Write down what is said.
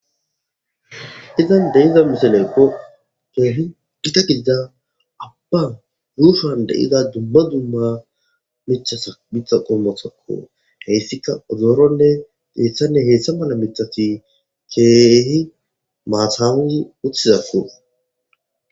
Keehippe gita keetha aba yushuwan de'iza dumma dumma mithata Mitha qomota heysika ozoronne heysanne heysama mala mithati keehi matan utizako